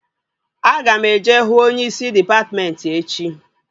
Aga m eje hụ onyeisi dịpatmentị echi